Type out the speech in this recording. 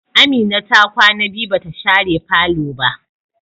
Amina kwana biyu bata share falo ba.